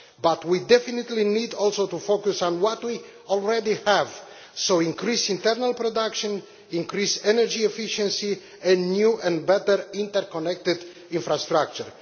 But we definitely need also to focus on what we already have increased internal production, increased energy efficiency, and new and better inter connected infrastructure.